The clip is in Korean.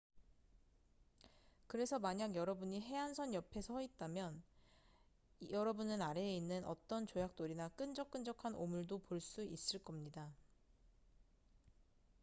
그래서 만약 여러분이 해안선 옆에 서 있다면 여러분은 아래에 있는 어떤 조약돌이나 끈적끈적한 오물도 볼 수 있을 겁니다